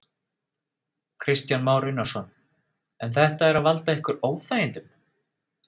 Kristján Már Unnarsson: En þetta er að valda ykkur óþægindum?